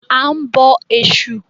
A ń bọ Ẹ̀sù.